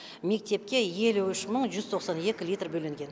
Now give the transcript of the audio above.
мектепке елу үш мың жүз тоқсан екі литр бөлінген